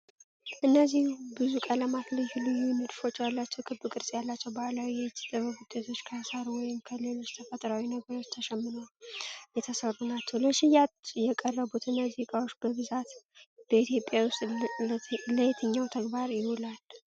እነዚህ ብዙ ቀለማትና ልዩ ልዩ ንድፎች ያሏቸው ክብ ቅርጽ ያላቸው ባህላዊ የእጅ ጥበብ ውጤቶች ከሳር ወይም ከሌሎች ተፈጥሯዊ ነገሮች ተሸምነው የተሠሩ ናቸው፤ ለሽያጭ የቀረቡት እነዚህ ዕቃዎች በብዛት በኢትዮጵያ ውስጥ ለየትኛው ተግባር ይውላሉ?